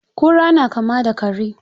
Kura na kama da kare.